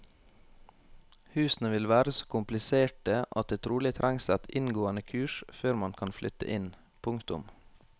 Husene vil være så kompliserte at det trolig trengs et inngående kurs før man kan flytte inn. punktum